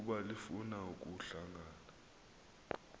ukuba lifuna ukuhlangana